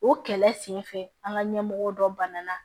O kɛlɛ senfɛ an ka ɲɛmɔgɔw dɔ banana